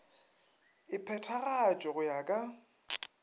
e phethagatšwe go ya ka